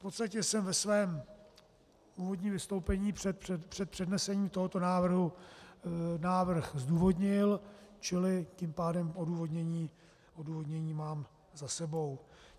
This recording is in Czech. V podstatě jsem ve svém úvodním vystoupení před přednesením tohoto návrhu návrh zdůvodnil, čili tím pádem odůvodnění mám za sebou.